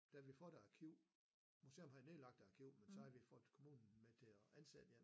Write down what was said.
Da vi får et arkiv museum har et nedlagt arkiv men så har vi fået kommunen til at ansætte hjælp